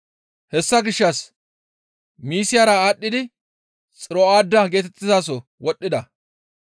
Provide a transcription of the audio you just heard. Hessa gishshas Misiyara aadhdhidi Xiro7aada geetettizaso wodhdhida.